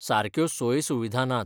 सारक्यो सोय सुविधा नात.